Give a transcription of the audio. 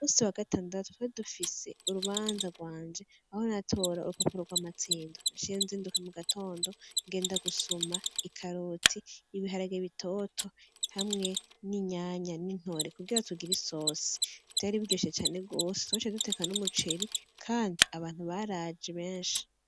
Umusi wa gatandatu twari dufise urubanza rwanje aho natora urupapuro rw'umutsindo, niho naciye nzinduka mu gatondo ngenda gusuma ikaroti, ibiharage bitoto, hamwe n'itomati n'intore kugira tugire isosi, vyari biryoshe cane, twaciye duteka n'umuceri kandi abantu baraje benshi.